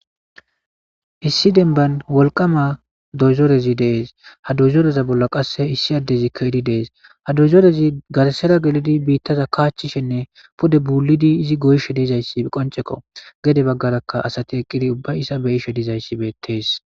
Issi denban wolqama dozorezi dees ha dozoreza bolla qasse issi addezikka idi dees ha dozorezi gasera gelidi biittaza kaachchishenne pode buulidi izi goyshe deezayssi qoncekko gede baggarakka asati eqqidi ubba isa beyishe dizayssi beettees.